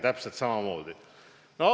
Täpselt samamoodi!